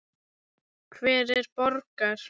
Hver borgar?